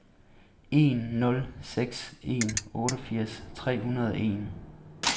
en nul seks en otteogfirs tre hundrede og en